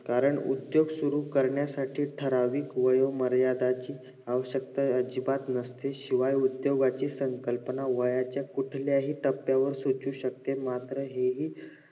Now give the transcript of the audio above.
कारण उद्दोग सुरु करण्यासाठी ठराविक वेळ मर्यादांची आवश्यकता अजिबात नसते शिवाय उद्दोगाची संकल्पना वयाच्या कुठल्या हि टप्प्यावर सुचू शकते मात्र हा हि